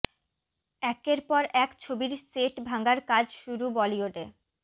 একের পর এক ছবির সেট ভাঙার কাজ শুরু বলিউডে